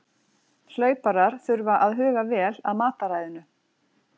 Hlauparar þurfa að huga vel að mataræðinu.